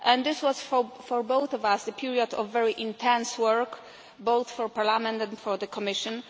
This was, for both of us, a period of very intense work, both for Parliament and for the Commission.